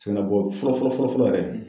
Sɛgɛn na bɔ fɔlɔ fɔlɔ fɔlɔ yɛrɛ